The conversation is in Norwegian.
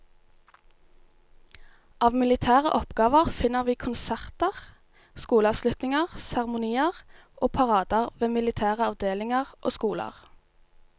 Av militære oppgaver finner vi konserter, skoleavslutninger, seremonier og parader ved militære avdelinger og skoler.